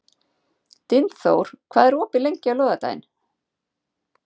Dynþór, hvað er opið lengi á laugardaginn?